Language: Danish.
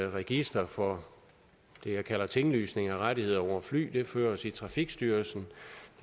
register for det jeg kalder tinglysning af rettigheder over fly det føres i trafikstyrelsen